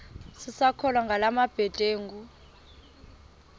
sisakholwa ngala mabedengu